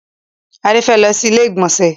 Adé fẹ́ lọ sí ilé ìgbọ̀nsẹ̀.